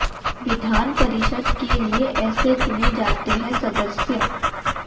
विधान परिषद के लिए ऐसे चुने जाते हैं सदस्य